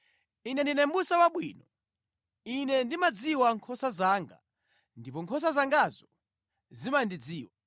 “Ine ndine mʼbusa wabwino. Ine ndimazidziwa nkhosa zanga ndipo nkhosa zangazo zimandidziwa,